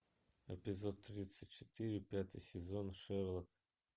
эпизод тридцать четыре пятый сезон шерлок